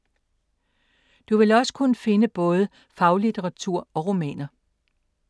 Du vil kunne finde både faglitteratur og romaner.